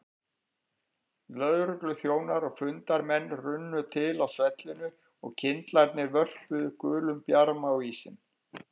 Lögregluþjónar og fundarmenn runnu til á svellinu og kyndlarnir vörpuðu gulum bjarma á ísinn.